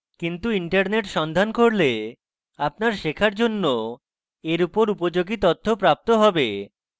কিন্তু internet সন্ধান করলে আপনার শেখার জন্য এর উপর উপযোগী তথ্য প্রাপ্ত হবে